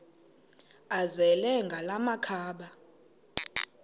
azele ngala makhaba